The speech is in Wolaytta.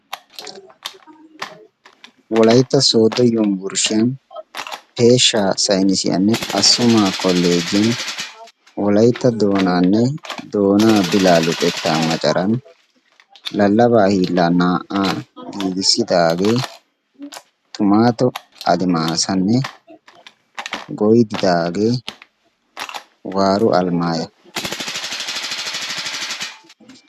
wolaytta sooddo yumburshshiyan peeshsha saynisiyaanne assumaa koleejiyan wolaytta doonaanne doonaa bilaa luxetta macaran lallabaa hiillaa naa"aa giigissidaagee tumaato adimaasanne goydidaagee waaro alimaaya.